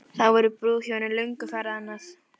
Þá voru brúðhjónin löngu farin annað.